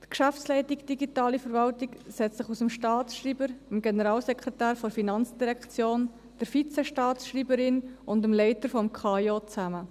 Die Geschäftsleitung Digitale Verwaltung setzt sich aus dem Staatsschreiber, dem Generalsekretär der FIN, der Vizestaatsschreiberin und dem Leiter des Amts für Informatik und Organisation des Kantons Bern (KAIO) zusammen.